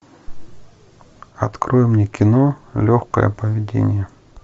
открой мне кино легкое поведение